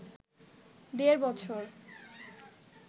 দেড় বছর